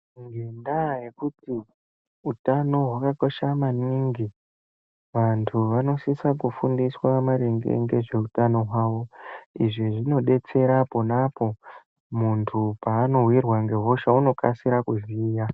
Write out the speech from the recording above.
Ngendaa yekuti utano hwakakosha maningi, vantu vanosisa kufundiswa maringe ngezveutano hwawo. Izvi zvinodetsera ponapo muntu paanowirwa ngehosha, unokasira kuziya.